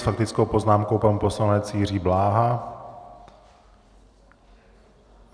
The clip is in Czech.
S faktickou poznámkou pan poslanec Jiří Bláha.